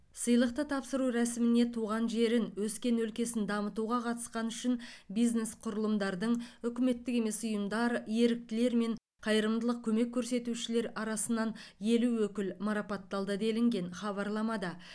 сыйлықты тапсыру рәсіміне туған жерін өскен өлкесін дамытуға қатысқаны үшін бизнес құрылымдардың үкіметтік емес ұйымдар еріктілер мен қайырымдылық көмек көрсетушілер арасынан елу өкіл марапатталды делінген хабарламада